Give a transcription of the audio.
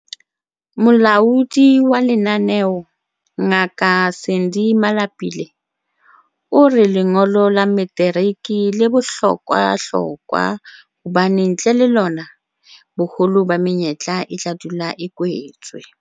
Molaodi wa lenaneo, Ngaka Sandy Malapile, o re lengolo la materiki le bohlokwahlokwa hobane ntle le lona, boholo ba menyetla e tla dula a kwetswe.